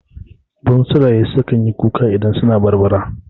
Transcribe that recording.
Bunsuraye su kanyi kuka idan suna barbara